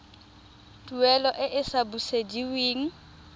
tuelo e e sa busediweng